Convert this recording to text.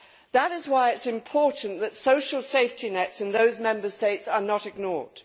That is why it is important that social safety nets in those Member States are not ignored.